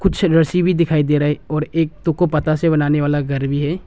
रस्सी भी दिखाई दे रही और एक बनाने वाला घर भी है।